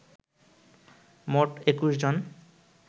মোট ২১ জন